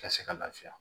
Ka se ka lafiya